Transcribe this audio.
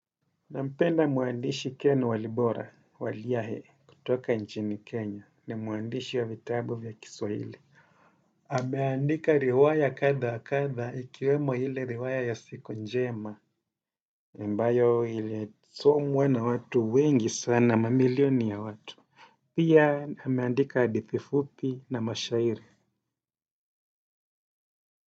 Nampenda mwandishi keno walibora waliyahe kutoka nchini Kenya ni mwandishi ya vitabu vya kiswahili ameandika riwaya kadha wakadha ikiwemo ile riwaya ya siku njema ambayo ilisomwa na watu wengi sana mamilioni ya watu. Pia ameandika hadithi fupi na mashairi.